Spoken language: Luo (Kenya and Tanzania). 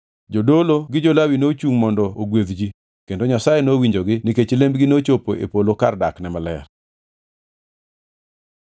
Jodolo gi jo-Lawi nochungʼ mondo ogwedh ji, kendo Nyasaye nowinjogi nikech lembgi nochopo e polo kar dakne maler.